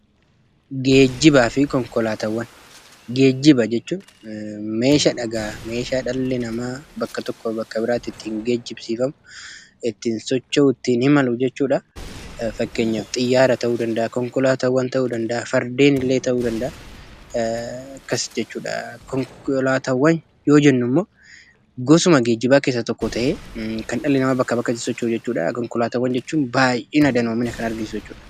Geejjiba jechuun meeshaadha, meeshaa dhalli namaa bakka tokkoo bakka biraatti ittiin geejjibsiifamu, ittiin socho'u, ittiin imalu jechuudha. Fakkeenyaaf xiyyaara ta'uu danda'a, konkolaataawwan ta'uu danda'a, fardeenillee ta'uu danda'a, akkas jechuudha. Konkolaataawwan yoo jennummoo gosuma geejjibaa keessaa tokko ta'ee kan dhalli namaa bakkaa bakkatti socho'u jechuudha. Konkolaataawwan jechuun baay'ina, danoomina kan argisiisan jechuudha.